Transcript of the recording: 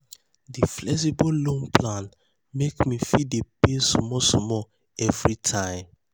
di flexible loan plan make me fit dey pay small small every time.